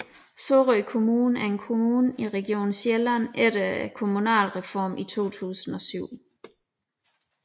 Sorø Kommune er en kommune i Region Sjælland efter Kommunalreformen i 2007